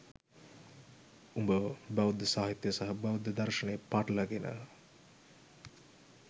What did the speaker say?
උඹ බෞද්ධ සාහිත්‍යය සහ බෞද්ධ දර්ශනය පටල ගන